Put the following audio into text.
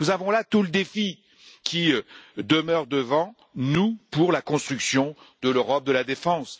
Nous voyons là tout le défi qui demeure devant nous pour la construction de l'Europe de la défense.